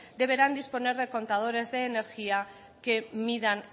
deberán disponer de contadores de energía que midan